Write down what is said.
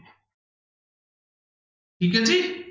ਠੀਕ ਹੈ ਜੀ।